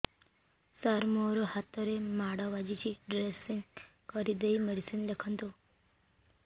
ସାର ମୋ ହାତରେ ମାଡ଼ ବାଜିଛି ଡ୍ରେସିଂ କରିଦେଇ ମେଡିସିନ ଲେଖନ୍ତୁ